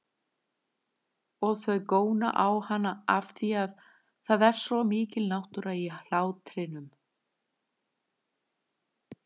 Og þau góna á hana afþvíað það er svo mikil náttúra í hlátrinum.